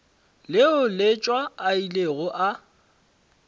leo letšwa a ilego a